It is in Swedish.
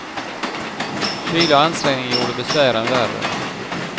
Kyla och ansträngning gjorde besvären värre.